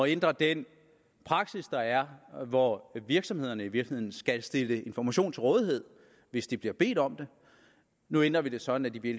ændre den praksis der er hvor virksomhederne i virkeligheden skal stille information til rådighed hvis de bliver bedt om det nu ændrer vi det sådan at de i